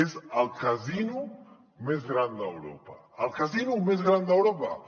és el casino més gran d’europa el casino més gran d’europa